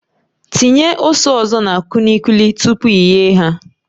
Tinye ose ọzọ na kulikuli tupu i ghee ha